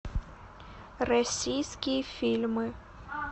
российские фильмы